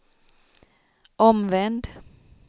omvänd